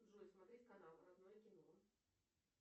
джой смотреть канал родное кино